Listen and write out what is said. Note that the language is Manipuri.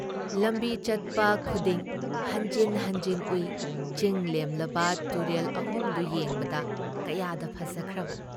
ꯂꯝꯕꯤ ꯆꯠꯄ ꯈꯨꯗꯤꯡ ꯍꯟꯖꯤꯟ ꯍꯟꯖꯤꯟ ꯎꯏ ꯆꯤꯡꯂꯦꯝꯂꯕ ꯇꯨꯔꯦꯜ ꯑꯍꯨꯝꯗꯨ ꯌꯦꯡꯕꯗ ꯀꯌꯥꯗ ꯐꯖꯈ꯭ꯔꯕ!